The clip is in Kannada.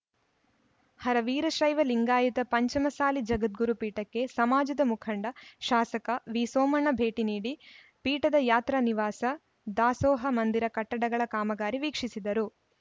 ಹರ ವೀರಶೈವ ಲಿಂಗಾಯತ ಪಂಚಮಸಾಲಿ ಜಗದ್ಗುರು ಪೀಠಕ್ಕೆ ಸಮಾಜದ ಮುಖಂಡ ಶಾಸಕ ವಿಸೋಮಣ್ಣ ಭೇಟಿ ನೀಡಿ ಪೀಠದ ಯಾತ್ರ ನಿವಾಸ ದಾಸೋಹ ಮಂದಿರ ಕಟ್ಟಡಗಳ ಕಾಮಗಾರಿ ವೀಕ್ಷಿಸಿದರು